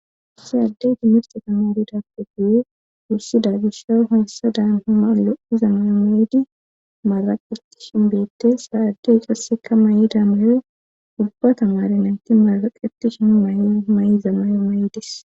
si addeyti mirxa tamari dappe guyu wussi da gisha haassa daamhama lo7iza mayo maydi maraqeti shin beette saaddey icasseka may7ida mayo ubba ta maare naynki maraqetishin may7iza mayo may7idis